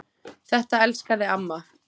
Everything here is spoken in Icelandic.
Þetta elskaði amma.